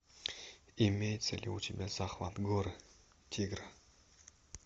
имеется ли у тебя захват горы тигра